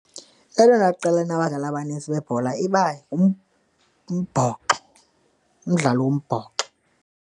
Elona qela linabadlali abanintsi bebhola iba ngumbhoxo, umdlalo wombhoxo.